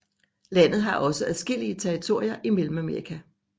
Landet har også adskillige territorier i Mellemamerika